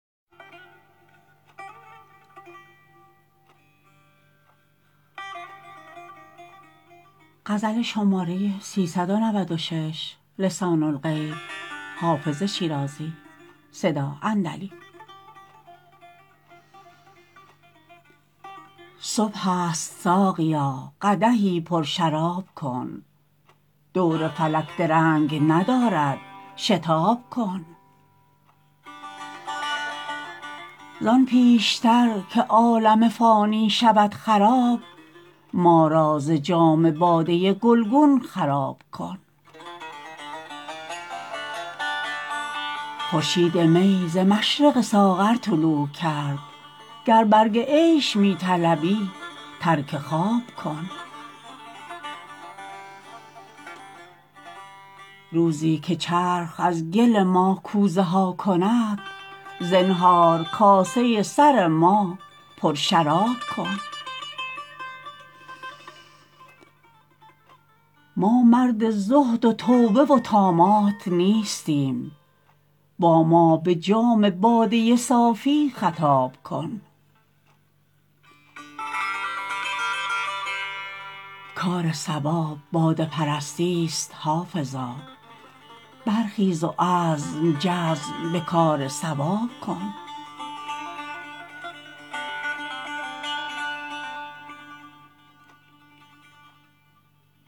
صبح است ساقیا قدحی پرشراب کن دور فلک درنگ ندارد شتاب کن زان پیش تر که عالم فانی شود خراب ما را ز جام باده گلگون خراب کن خورشید می ز مشرق ساغر طلوع کرد گر برگ عیش می طلبی ترک خواب کن روزی که چرخ از گل ما کوزه ها کند زنهار کاسه سر ما پرشراب کن ما مرد زهد و توبه و طامات نیستیم با ما به جام باده صافی خطاب کن کار صواب باده پرستی ست حافظا برخیز و عزم جزم به کار صواب کن